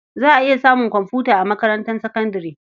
Za a iya samun komfuta a makarantar sakandare.